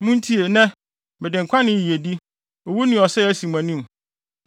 Muntie, nnɛ, mede nkwa ne yiyedi, owu ne ɔsɛe asi mo anim.